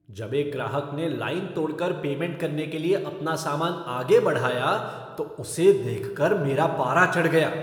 जब एक ग्राहक ने लाइन तोड़कर पेमेंट करने के लिए अपना सामान आगे बढ़ाया, तो उसे देखकर मेरा पारा चढ़ गया।